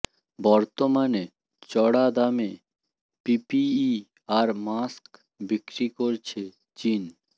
বর্তমানে চড়া দামে পিপিই আর মাস্ক বিক্রি করছে চিন